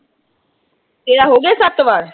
ਤੇਰਾ ਹੋਗਿਆ ਸੱਤ ਵਾਰ।